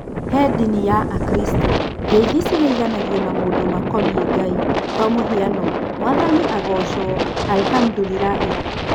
He ndini ya Akristiano ngeithi cingeithanagio na maũndũ makonie Ngai kwa mũhiano, Mwathani agoco, allahmdilulahi.